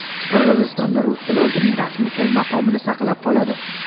Qirg‘izistonda rus tili o‘zining rasmiy til maqomini saqlab qoladi.